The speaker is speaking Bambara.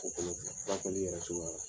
ko kolon kɛ , furakɛli yɛrɛ cogoy la.